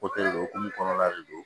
o hokumu kɔnɔna de don